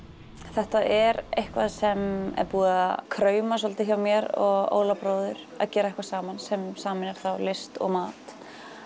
þetta er eitthvað sem er búið að krauma svolítið hjá mér og Óla bróður að gera eitthvað saman sem sameinar þá list og mat